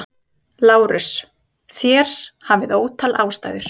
LÁRUS: Þér hafið ótal ástæður.